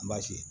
An b'a f'i ye